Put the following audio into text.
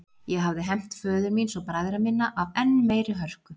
Ég hefði hefnt föður míns og bræðra minna af enn meiri hörku.